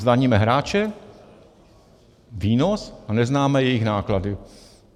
Zdaníme hráče, výnos a neznáme jejich náklady.